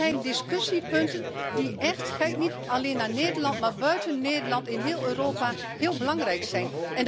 Dat zijn discussiepunten die echt kijk niet alleen naar Nederland, maar ook buiten Nederland in heel Europa zeer belangrijk zijn.